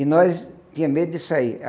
E nós tinha medo de sair.